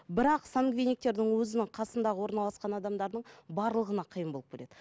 бірақ сангвиниктердің өзінің қасындағы орналасқан адамдардың барлығына қиын болып келеді